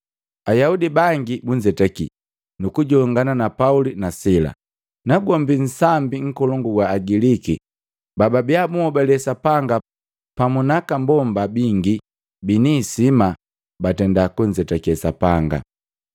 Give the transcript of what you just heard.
Ayaudi bangi bunzetaki nukujongana na Pauli na sila. Nagombi nsambi nkolongu wa Agiliki bababia bunhobale Sapanga pamu naka mbomba bingi bini isima, batenda kunzetake Sapanga.